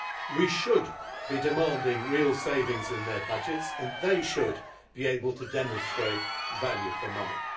We should be demanding real savings in their budgets and they should be able to demonstrate value for money.